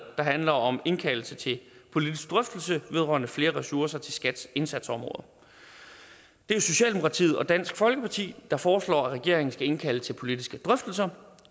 handler om indkaldelse til politisk drøftelse vedrørende flere ressourcer til skats indsatsområder det er socialdemokratiet og dansk folkeparti der foreslår at regeringen skal indkalde til politiske drøftelser